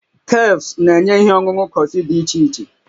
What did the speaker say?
Cafes na-enye ihe ọṅụṅụ kọfị dị iche iche